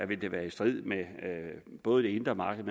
vil det være i strid med både det indre markeds